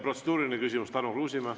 Protseduuriline küsimus, Tarmo Kruusimäe.